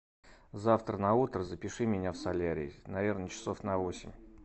завтра на утро запиши меня в солярий наверно часов на восемь